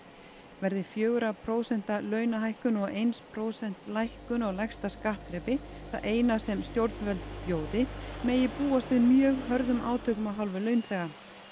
verði fjögurra prósenta launahækkun og eins prósents lækkun á lægsta skattþrepi það eina sem stjórnvöld bjóði megi búast við mjög hörðum átökum af hálfu launþega